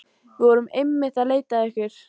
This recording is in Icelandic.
Við vorum einmitt að leita að ykkur.